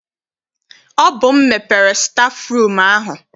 Ọ bụ m mepere stafụrum ahụ.